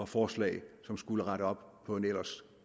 forslag som skulle rette op på en ellers